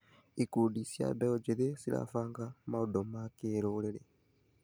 Ikundi cia mbeũ njĩthĩ cirabanga maũndũ ma kĩrũrĩrĩ.